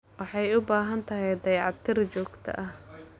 Waxay u baahan tahay dayactir joogto ah.